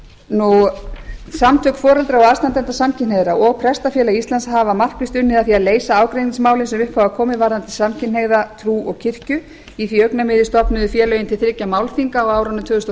pör samtök foreldra og aðstandenda samkynhneigðra og prestafélag íslands hafa markvisst unnið að því að leysa ágreiningsmálin sem upp hafa komið varðandi samkynhneigða trú og kirkju í því augnamiði stofnuðu félögin til þriggja málþinga á árunum tvö þúsund